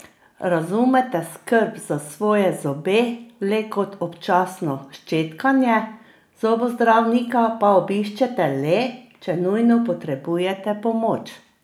Razumete skrb za svoje zobe le kot občasno ščetkanje, zobozdravnika pa obiščete le, če nujno potrebujete pomoč?